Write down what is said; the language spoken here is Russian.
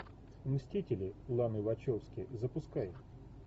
мстители ланы вачовски запускай